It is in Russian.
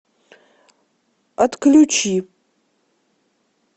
отключи